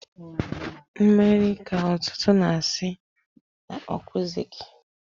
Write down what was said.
Mmerịa k'ọtụtụ na-asị na ọkwụzịghị.